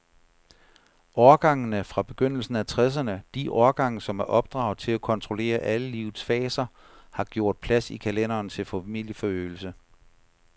Årgangene fra begyndelsen af tresserne, de årgange, som er opdraget til at kontrollere alle livets faser, har gjort plads i kalenderen til familieforøgelse.